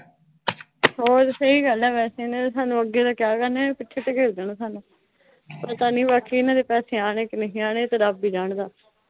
ਹੋਰ ਸਹੀ ਗੱਲ ਆ, ਵੈਸੇ ਇਨ੍ਹਾਂ ਨੇ ਸਾਨੂੰ ਅੱਗੇ ਤਾਂ ਕਿਆ ਕਰਨਾ, ਪਿੱਛੇ ਧਕੇਲ ਦੇਣਾ ਸਾਨੂੰ। ਪਤਾ ਨੀਂ ਬਾਕੀ ਇਨ੍ਹਾਂ ਦੇ ਪੈਸੇ ਆਣੇ ਕਿ ਨਹੀਂ ਆਣੇ। ਇਹ ਤਾਂ ਰੱਬ ਈ ਜਾਣਦਾ।